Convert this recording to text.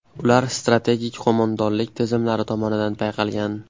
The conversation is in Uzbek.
Ular strategik qo‘mondonlik tizimlari tomonidan payqalgan.